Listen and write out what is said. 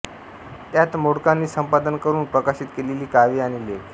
त्यात मोडकांनी संपादन करून प्रकाशित केलेली काव्ये आणि लेख